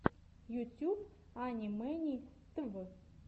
ютьюб ани мэни тв